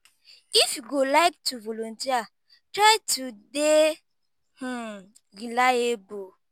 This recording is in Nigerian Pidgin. if you go like to volunteer try to dey um reliable